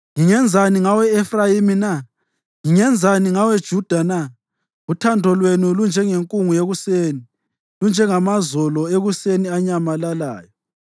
“Ngingenzani ngawe, Efrayimi na? Ngingenzani ngawe, Juda na? Uthando lwenu lunjengenkungu yekuseni, lunjengamazolo ekuseni anyamalalayo.